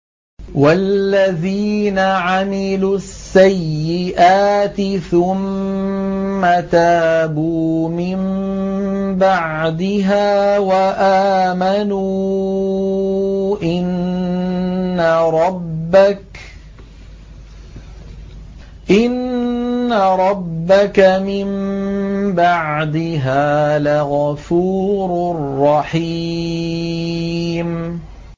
وَالَّذِينَ عَمِلُوا السَّيِّئَاتِ ثُمَّ تَابُوا مِن بَعْدِهَا وَآمَنُوا إِنَّ رَبَّكَ مِن بَعْدِهَا لَغَفُورٌ رَّحِيمٌ